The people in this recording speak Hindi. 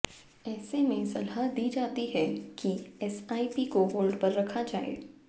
ऐसे में सलाह दी जाती है कि एसआइपी को होल्ड पर रखा जाए